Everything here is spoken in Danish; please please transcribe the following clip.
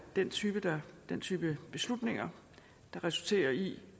den type den type beslutninger der resulterer i